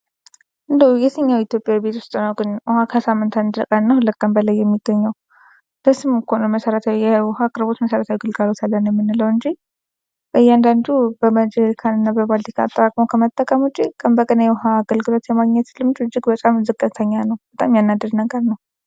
እንዴው የትኛው የኢትዮጵያ ቤት ውስጥ ነው ግን ውሃ ከሳምንት አንድ ቀን እና ሁለት ቀን በላይ የሚገኘው ለስሙ እኮ ነው መሰረታዊ የውሃ አቅርቦት መሰረታዊ አገልግሎት አለን የምንለው እንጂ በእያንዳዱ በጀርካ እና በባልዲ ቀድቶ ከመጠቀም ውጭ ቀን በቀን የውሃ አገልግሎት የማግኘት ልምዱ እጅግ በጣም ዝቅተኛ ነው ።